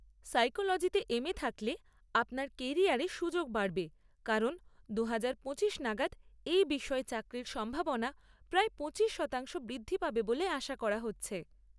সাইকোলোজিতে M A থাকলে আপনার ক্যারিয়ারে সুযোগ বাড়বে কারণ দুহাজার পঁচিশ নাগাদ এই বিষয়ে চাকরির সম্ভাবনা প্রায় পঁচিশ শতাংশ বৃদ্ধি পাবে বলে আশা করা হচ্ছে।